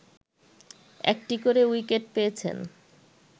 একটি করে উইকেট পেয়েছেন